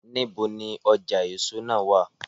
Níbo ni ọjà èso náà wá à?